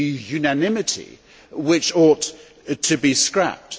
unanimity which ought to be scrapped.